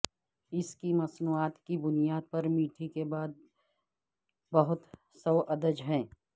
اس کی مصنوعات کی بنیاد پر میٹھی کے بعد بہت سوادج ہے